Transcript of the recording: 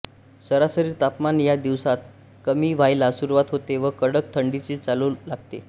सरासरी तापमान या दिवसात कमी व्हायला सुरुवात होते व कडक थंडीची चाहुल लागते